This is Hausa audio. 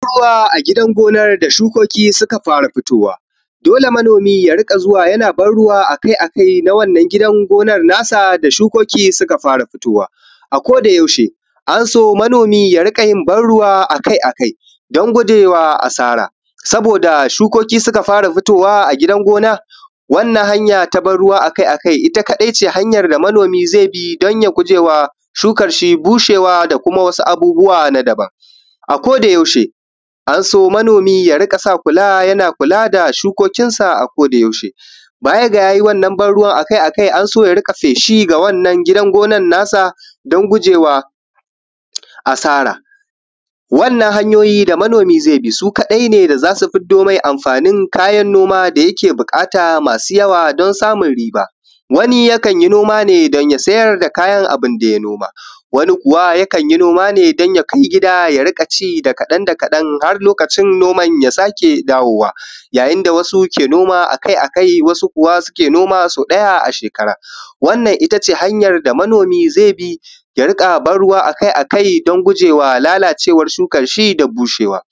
ban ruwa a gidan gonar da shukoki suka fara fitowa dole manomi ya riƙa zuwa yana ban ruwa a kai a kai na wannan gidan gonar na sa da shukoki suka fara fitowa a koda yaushe ana so manomi ya riƙa yin ban ruwa a kai a kai don guje ma asara saboda shukoki suka fara fitowa a gidan gonar wannan hanya ta ban ruwa a kai a kai ita kaɗai ne hanyar da manomi zai bi domin gujewa shukan shi bushewa da kuma wasu abubuwa na daban a koda yaushe an so manomi ya riƙa sa kula yana kula da shukokinsa a koda yaushe ba ya da ya yi wannan ban ruwan a kai a kai an so ya riƙa feshi a wannan gidan gonar nasa don guje wa asara wannan hanyoyi da manomi zai bi su kaɗai ne da za su fiddo mai amfanin kayan noma da yake buƙata masu yawa don samun riba wani yakan yi noma ne don ya sayar da kayan abun da ya noma wani kuwa yakan yi noma ne don ya kai gida ya riƙa ci da kaɗan da kaɗan har lokacin noman ya sake dawowa yayin da wasu ke noma a kai a kai wasu kuwa ke noma sau ɗaya a shekara wannan itace hanyar da manomi zai bi ya riƙa ban ruwa a kai a kai don gujewa lalacewar shukar shi da bushewa